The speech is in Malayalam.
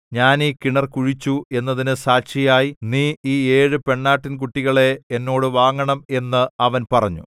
ഞാൻ ഈ കിണർ കുഴിച്ചു എന്നതിന് സാക്ഷിയായി നീ ഈ ഏഴു പെണ്ണാട്ടിൻകുട്ടികളെ എന്നോട് വാങ്ങണം എന്ന് അവൻ പറഞ്ഞു